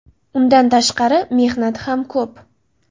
Undan tashqari mehnati ham ko‘p.